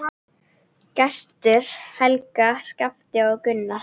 Gestur, Helga, Skafti og Gunnar.